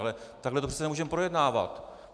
Ale takhle to přece nemůžeme projednávat.